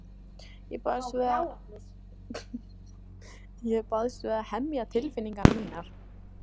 Ég barðist við að hemja tilfinningar mínar.